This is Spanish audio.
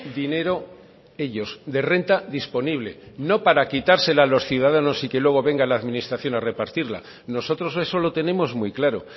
dinero ellos de renta disponible no para quitársela a los ciudadanos y que luego venga la administración a repartirla nosotros eso lo tenemos muy claro